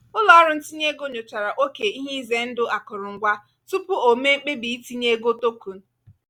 ụlọọrụ ntinye ego nyochara oke ihe ize ndụ akụrụngwa tupu o mee mkpebi itinye ego token.